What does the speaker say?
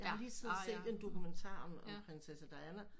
Jeg har lige siddet og set en dokumentar om prinsesse Diana